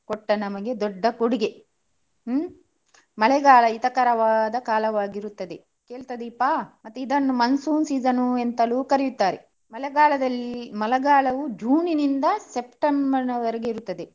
ಕೊಟ್ಟ ನಮಗೆ ದೊಡ್ಡ ಕೊಡುಗೆ ಹ್ಮ್. ಮಳೆಗಾಲ ಹಿತಕರ ಕಾಲವಾಗಿರುತ್ತದೆ. ಕೇಳ್ತಾ ದೀಪ? ಮತ್ತೆ ಇದನ್ನು monsoon season ಅಂತಾನೂ ಕರಿತಾರೆ. ಮಳೆಗಾಲದಲ್ಲಿ ಮಳೆಗಾಲವೂ June ನಿಂದ September ನವರೆಗೆ ಇರುತದೆ.